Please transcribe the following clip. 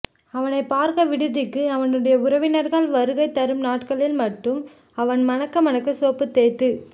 அவனைப் பார்க்க விடுதிக்கு அவனுடைய உறவினர்கள் வருகை தரும் நாட்களில் மட்டும் அவன் மணக்க மணக்க சோப்பு தேய்த்துக்